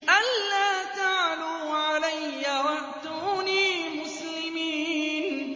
أَلَّا تَعْلُوا عَلَيَّ وَأْتُونِي مُسْلِمِينَ